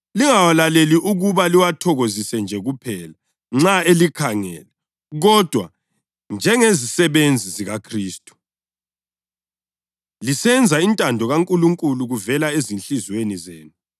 Lingawalaleli ukuba liwathokozise nje kuphela nxa elikhangele kodwa njengezisebenzi zikaKhristu, lisenza intando kaNkulunkulu kuvela ezinhliziyweni zenu.